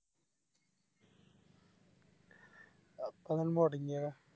അപ്പങ്ങനെ മുടങ്ങിയ